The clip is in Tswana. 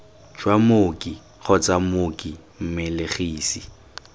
jwa mooki kgotsa mooki mmelegisi